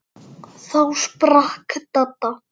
Þá sprakk Dadda.